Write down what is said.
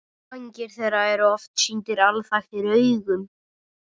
Vængir þeirra eru oft sýndir alþaktir augum.